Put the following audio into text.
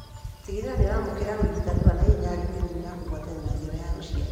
Tigĩrĩra nĩũramũkĩra ũrigitani wa naihenya harĩ mĩrimũ ya kũgwatanio na njĩra ya ũciari